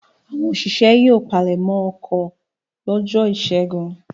Àwọn òṣìṣẹ́ yóò palẹ̀mọ́ oko lọ́jọ́ ìṣẹ́gun.